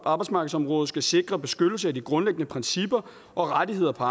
arbejdsmarkedsområdet skal sikre beskyttelse af de grundlæggende principper og rettigheder på